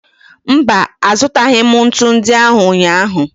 Mba, azụtaghị m ntu ndị ahụ ụnyaahụ.